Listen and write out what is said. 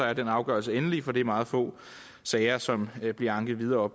er den afgørelse endelig for det er meget få sager som bliver anket videre